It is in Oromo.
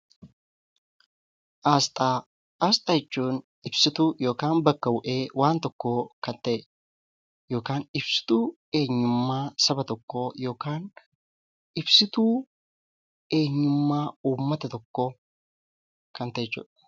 Asxaa jechuun ibsituu yookiin bakka bu'ee wanta tokkoo kan ta'e yookiin ibsituu eenyummaa saba tokkoo yookaan ibsituu eenyummaa uummata tokkoo kan ta'e jechuudha.